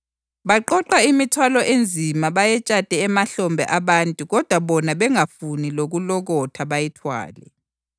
Baqoqa imithwalo enzima bayetshate emahlombe abantu kodwa bona bengafuni lokulokotha bayithwale.